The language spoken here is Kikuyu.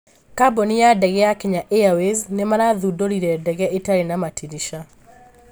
kambuni ya ndege ya Kenya Airways nĩ marathundũrire ndege ĩtarĩ na matirisha